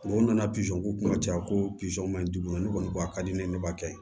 O nana pizɔn k'u kunna ka caya ko pizɔn man di u ma ne kɔni a ka di ne ye ne b'a kɛ